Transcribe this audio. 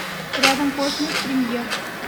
рядом космос премьер